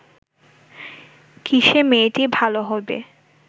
কিসে মেয়েটি ভাল হইবে